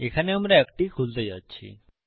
এখানে আমরা একটি খুলতে যাচ্ছি